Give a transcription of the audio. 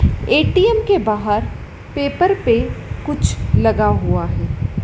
ATM के बाहर paper पर कुछ लगा हुआ है।